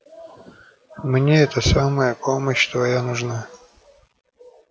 мне это самое помощь твоя нужна